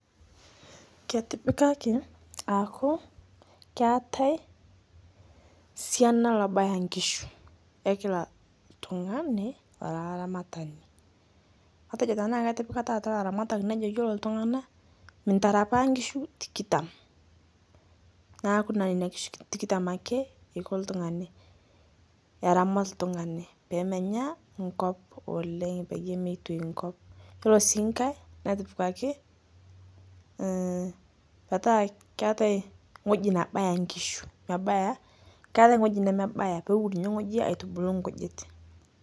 Ketipikaki aaku keetai sianaa laabaya nkishuu e kila ltung'ani ara laaramatani. Atejoo tana atipikaa taata laaramatan nejoo iyeloo ltung'ana mintarapaa nkishuu tikitaam. Naaku naa enia nkishuu tikitaam ake eikoo ltung'ani aramaat ltung'ani pee menyaa nkop oleng peiye meitoo nkop. Iyeloo sii nkaai netipikaki ee petaa keetai ng'oji nabaya nkishuu mebayaa, keetai ng'oji nemebaya pee wuun enia ng'oji aitubuluu nkujiit.